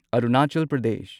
Arunachal Pradesh